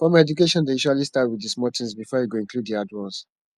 formal education dey usually start with di small things before e go include hard ones